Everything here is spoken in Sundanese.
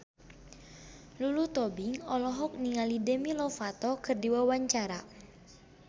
Lulu Tobing olohok ningali Demi Lovato keur diwawancara